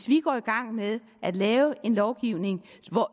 vi går i gang med at lave en lovgivning